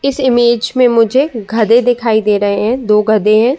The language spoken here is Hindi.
इस इमेज में मुझे गधे दिखाई दे रहे हैं। दो गधे हैं।